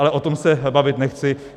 Ale o tom se bavit nechci.